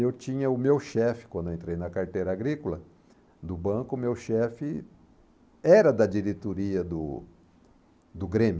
E eu tinha o meu chefe, quando eu entrei na carteira agrícola do banco, meu chefe era da diretoria do do Grêmio.